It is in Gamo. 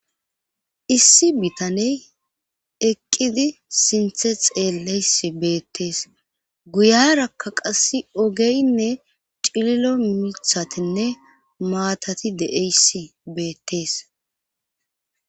Issi bitaney eqqidi sinthe xeelleys beettees guyarakka qass ogeynne cililo mithatinne maatati de'eysi beettees.